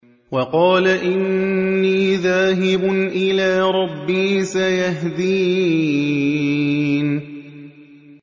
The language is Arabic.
وَقَالَ إِنِّي ذَاهِبٌ إِلَىٰ رَبِّي سَيَهْدِينِ